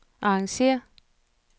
arrangér